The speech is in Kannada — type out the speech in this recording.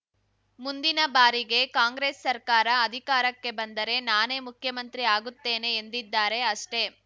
ಮುಂದಿನ ಬಾರಿಗೆ ಕಾಂಗ್ರೆಸ್‌ ಸರ್ಕಾರ ಅಧಿಕಾರಕ್ಕೆ ಬಂದರೆ ನಾನೇ ಮುಖ್ಯಮಂತ್ರಿ ಆಗುತ್ತೇನೆ ಎಂದಿದ್ದಾರೆ ಅಷ್ಟೆ